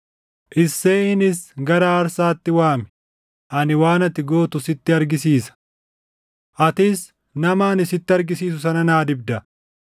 Isseeyinis gara aarsaatti waami; ani waan ati gootu sitti argisiisa. Atis nama ani sitti argisiisu sana naa dibda.”